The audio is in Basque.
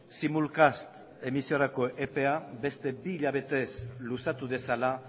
simulcast emisiorako epea beste bi hilabetez luzatu dezala